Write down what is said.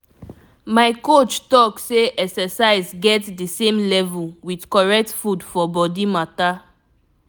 if you fit add exercise for for your everyday doings e get um plenty gain wey you go enjoy.